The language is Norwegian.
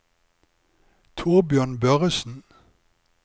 Torbjørn Børresen